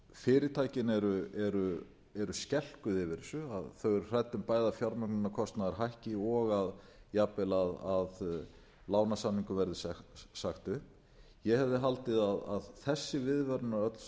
fyrirtækin eru skelkuð yfir þessu þau eru hrædd um bæði að fjármögnunarkostnaður hækki og jafnvel að lánasamningum verði sagt upp ég hefði haldið að þessi viðvörunarorð